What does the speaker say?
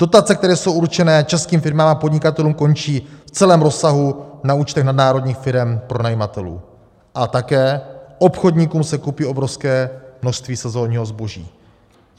Dotace, které jsou určené českým firmám a podnikatelům, končí v celém rozsahu na účtech nadnárodních firem pronajímatelů a také obchodníkům se kupí obrovské množství sezonního zboží.